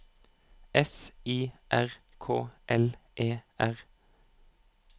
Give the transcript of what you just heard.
S I R K L E R